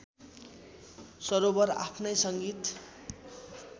सरोवर आफ्नै संगीत